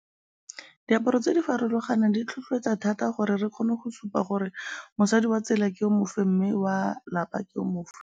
Diaparo tse di farologanang di tlhotlheletsa thata gore re kgone go supa gore mosadi wa tsela ke o mofe mme wa lapa ke o mofe.